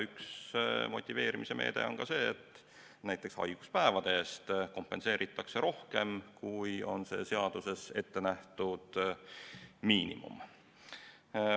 Üks motiveerimise meede on see, et näiteks haiguspäevi kompenseeritakse rohkem, kui on seaduses ette nähtud miinimum.